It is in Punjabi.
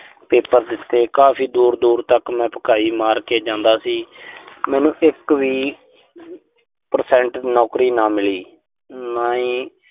ਪੇਪਰ ਦਿੱਤੇ। ਕਾਫ਼ੀ ਦੂਰ-ਦੂਰ ਤੱਕ ਮੈਂ ਭਕਾਈ ਮਾਰ ਕੇ ਜਾਂਦਾ ਸੀ। ਮੈਨੂੰ ਇੱਕ ਵੀ percent ਨੌਕਰੀ ਨਾ ਮਿਲੀ। ਨਾ ਹੀ